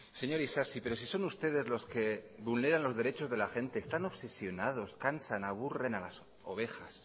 señor isasi pero si son ustedes los que vulneran los derechos de la gente están obsesionados cansan aburren a las ovejas